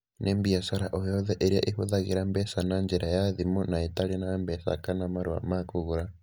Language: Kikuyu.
Nĩ biacara o yothe ĩrĩa ĩhũthagĩra mbeca na njĩra ya thimũ na ĩtarĩ na mbeca kana marũa ma kũgũra.